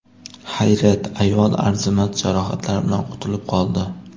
Xayriyat, ayol arzimas jarohatlar bilan qutulib qoldi.